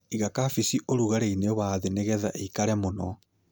Iga kabeci ũragarĩinĩ wa thĩ nĩgetah ĩikare mũno.